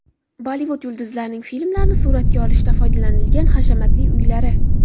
Bollivud yulduzlarining filmlarni suratga olishda foydalanilgan hashamatli uylari .